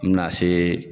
N bɛna se